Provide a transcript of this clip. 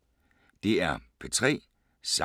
DR P3